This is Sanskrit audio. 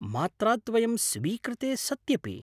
मात्राद्वयं स्वीकृते सत्यपि?